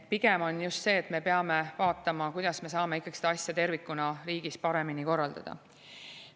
Pigem me peame vaatama, kuidas me saame seda asja tervikuna riigis paremini korraldada.